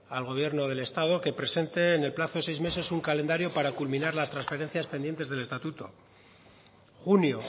al gobierno del estado que presente en el plazo de seis meses un calendario para culminar las transferencias pendientes del estatuto junio